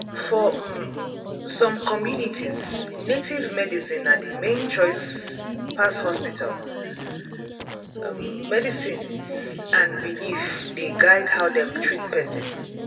for um some communities native medicine na the main choice pass hospital um medicine and belief dey guide how dem treat person. um